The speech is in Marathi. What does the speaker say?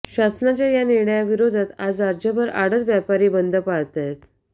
शासनाच्या या निर्णयाविरोधात आज राज्यभर आडत व्यापारी बंद पाळतायेत